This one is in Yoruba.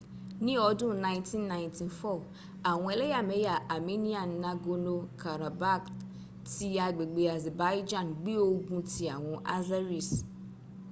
ni ọdun 1994 awọn eleyameya armenian nagorno-karabakh ti agbegbe azerbaijan gbe ogun ti awọn azeris